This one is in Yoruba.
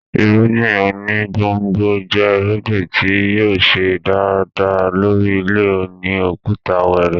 Irúngbìn oní gbòngbò jẹ́ irúgbìn tí yóò ṣe dáadáa lórí ilẹ̀ òní òkúta wẹrẹ